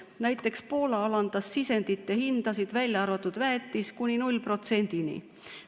Näiteks Poola alandas sisendite hindasid, välja arvatud väetisel, kuni 0%‑ni.